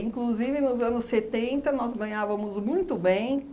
nos anos setenta, nós ganhávamos muito bem.